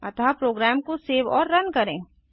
अतः प्रोग्राम को सेव और रन करें